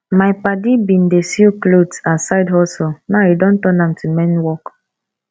my padi bin dey sew clot as side hustle now e don turn am to main work